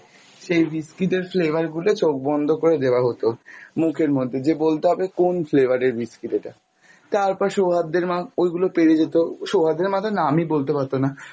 সেই biscuit এর flavour গুলো চোখ বন্ধ করে দেয়া হতো, মুখের মধ্যে যে বলতে হবে কোন flavour এর biscuit এটা তারপর সৌহার্দের মা ওগুলো পেড়ে যেত, সৌহার্দের মা তো নামই বলতে পারত না